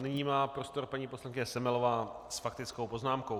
Nyní má prostor paní poslankyně Semelová s faktickou poznámkou.